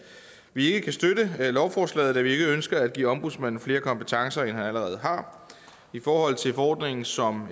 vi ikke kan støtte lovforslaget da vi ikke ønsker at give ombudsmanden flere kompetencer end han allerede har i forhold til forordningen som